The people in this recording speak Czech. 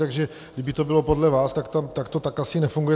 Takže kdyby to bylo podle vás, tak to tak asi nefunguje.